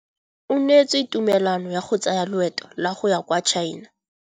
O neetswe tumalanô ya go tsaya loetô la go ya kwa China.